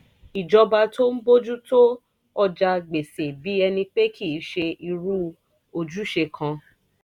ìjọba tó ń bójú tó ọjà gbèsè bí ẹni pé kì í ṣe irú ojúṣe kan